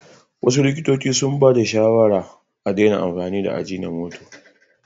Wasu likitocin sun bayar da shawarar daina amfani da ajinomoto.